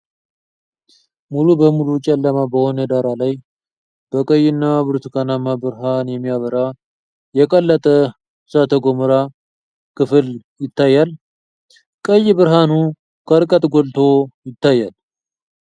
ሙሉ በሙሉ ጨለማ በሆነ ዳራ ላይ፣ በቀይና ብርቱካናማ ብርሃን የሚያበራ የቀለጠ እሳተ ገሞራ (ማግማ) ክፍል ይታያል። ቀይ ብርሃኑ ከርቀት ጎልቶ ይታያል።